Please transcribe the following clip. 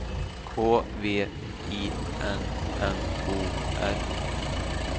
K V I N N O R